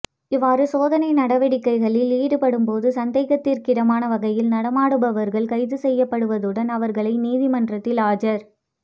இவ்வாறு சோதனை நடவடிக்கைகளில் ஈடுபடும் போது சந்தேகத்திற்கிடமான வகையில் நடமாடுபவர்கள் கைது செய்யப்படுவதுடன் அவர்களை நீதிமன்றத்தில் ஆஜர்